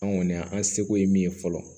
An kɔni an seko ye min ye fɔlɔ